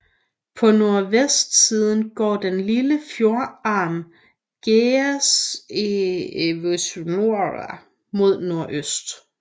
På nordvestsiden går den lille fjordarm Geazzevuotna mod nordøst